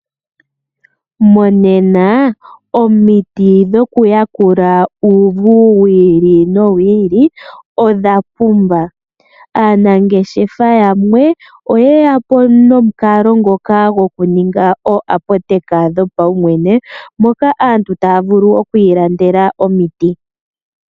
Monena omiti dhokuyakula uuvu wiili nowili odha pumba. Aanangeshefa yamwe oyeya po nomukalo ngoka gokuninga ooapoteka dhopaumwene moka aantu taya vulu okwiilandela omiti.